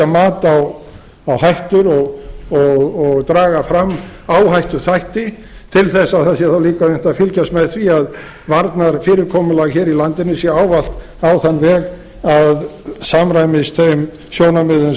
mat á hættur og draga fram áhættuþætti til þess að það sé þá líka unnt að fylgjast með því að varnarfyrirkomulag hér í landinu sé ávallt á þann veg að samræmist þeim sjónarmiðum